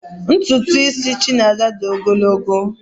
Ntụtụ isi Chinaza dị ogologo